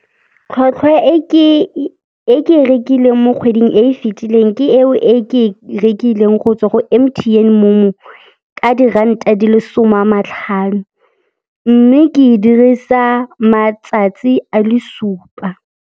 Tlhwatlhwa e ke e rekileng mo kgweding e e fitileng ke eo e ke e rekileng go tswa go M_T_N Momo ka diranta di le som'a matlhano, mme ke e dirisa matsatsi a le supa.